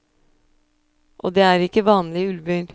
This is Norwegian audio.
Og det er ikke vanlige ulver.